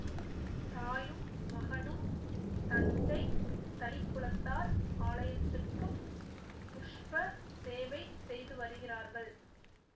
தாயும் மகனும் தஞ்சை தளிக்குளத்தார் ஆலயத்துக்குப் புஷ்ப சேவை செய்து வருகிறார்கள்